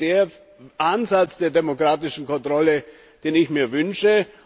Und das ist der Ansatz der demokratischen Kontrolle, den ich mir wünsche.